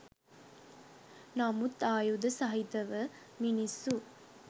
නමුත් ආයුධ සහිතව මිනිස්සු